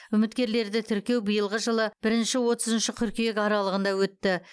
үміткерлерді тіркеу биылғы жылы бірінші отызыншы қыркүйек аралығында өтті